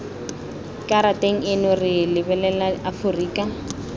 karateng eno re lebelela aforika